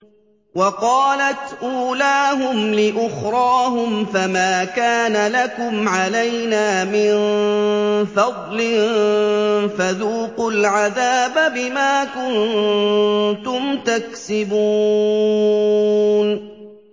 وَقَالَتْ أُولَاهُمْ لِأُخْرَاهُمْ فَمَا كَانَ لَكُمْ عَلَيْنَا مِن فَضْلٍ فَذُوقُوا الْعَذَابَ بِمَا كُنتُمْ تَكْسِبُونَ